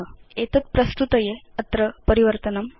एतद् प्रस्तुतये अत्र परिवर्तनं मास्तु